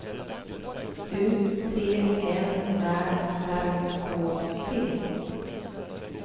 U T M Ä R K T